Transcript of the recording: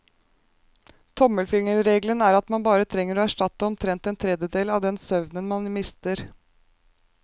Tommelfingerregelen er at man bare trenger å erstatte omtrent en tredjedel av den søvnen man mister.